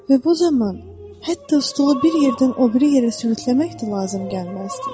Və bu zaman hətta stulu bir yerdən o biri yerə sürükləmək də lazım gəlməzdi.